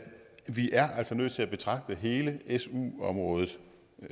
vi altså er nødt til at betragte hele su området